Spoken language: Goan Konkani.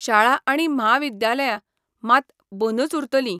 शाळा आनी म्हाविद्यालया मात बंदुच उरतली.